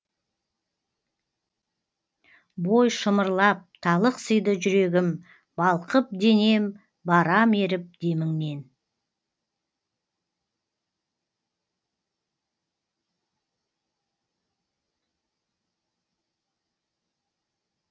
бой шымырлап талықсиды жүрегім балқып денем барам еріп деміңнен